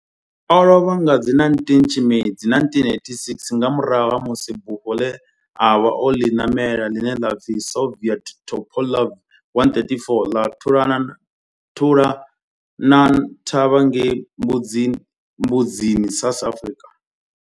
O lovha nga 19 Tshimedzi 1986 nga murahu ha musi bufho ḽe a vha o ḽi ṋamela, ḽine ḽa pfi Soviet Tupolev 134 ḽa thulana thavha ngei Mbuzini, South Africa.